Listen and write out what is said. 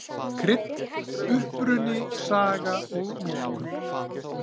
Krydd: Uppruni, saga og notkun.